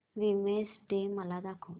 women's day मला सांग